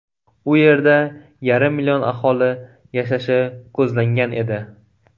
U yerda yarim million aholi yashashi ko‘zlangan edi.